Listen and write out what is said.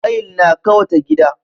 Tayil na kawata gida.